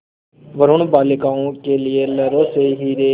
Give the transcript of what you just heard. वरूण बालिकाओं के लिए लहरों से हीरे